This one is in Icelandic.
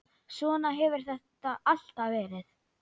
Svona hefur þetta alltaf verið.